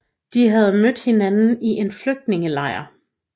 De havde mødt hinanden i en flygtningelejr